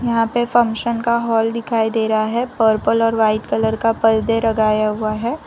यहां पे फंक्शन का हॉल दिखाई दे रहा है पर्पल और वाइट कलर पर्दे लगाया हुआ है।